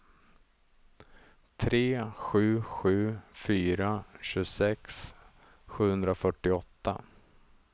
tre sju sju fyra tjugosex sjuhundrafyrtioåtta